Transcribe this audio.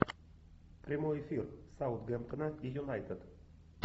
прямой эфир саутгемптона и юнайтед